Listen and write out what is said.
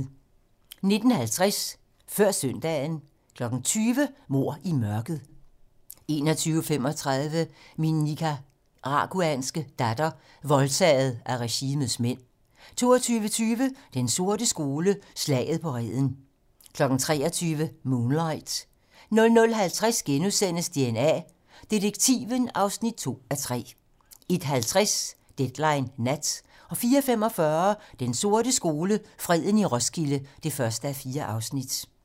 19:50: Før søndagen 20:00: Mord i mørket 21:35: Min nicaraguanske datter - voldtaget af regimets mænd 22:20: Den sorte skole: Slaget på Reden 23:00: Moonlight 00:50: DNA Detektiven (2:3)* 01:50: Deadline nat 04:45: Den sorte skole: Freden i Roskilde (1:4)